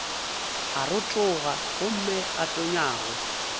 a rotoga gomme a tonyago